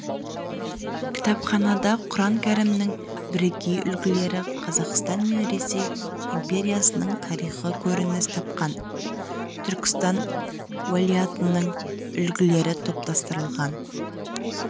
кітапханада құран кәрімнің бірегей үлгілері қазақстан мен ресей империясының тарихы көрініс тапқан түркістан уәлаятының үлгілері топтастырылған